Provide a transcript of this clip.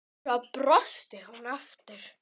Svo brosti hún aftur.